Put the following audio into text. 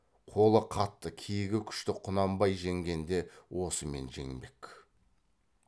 қолы қатты кегі күшті құнанбай жеңгенде осымен жеңбек